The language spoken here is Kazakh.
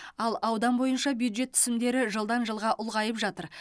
ал аудан бойынша бюджет түсімдері жылдан жылға ұлғайып жатыр